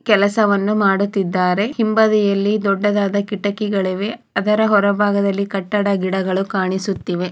ಕೆಲಸವನ್ನು ಮಾಡುತ್ತಿದ್ದಾರೆ ಹಿಂಬದಿಯಲ್ಲಿ ದೊಡ್ಡದಾದ ಕಿಟಕಿಗಳಿವೆ ಅದರ ಹೊರಭಾಗದಲ್ಲಿ ಕಟ್ಟಡ ಗಿಡಗಳು ಕಾಣಿಸುತ್ತಿವೆ.